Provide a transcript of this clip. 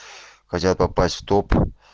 хотят попасть в топ